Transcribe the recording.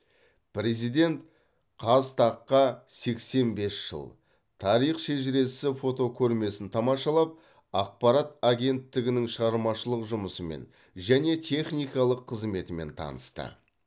президент қазтаг қа сексен бес жыл тарих шежіресі фотокөрмесін тамашалап ақпарат агенттігінің шығармашылық жұмысымен және техникалық қызметімен танысты